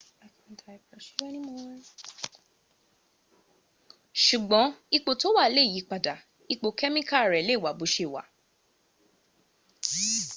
ṣùgbọ́n ipò tó wà lè yípadà ipò kẹ́míkà rè lè wà bó ṣe wà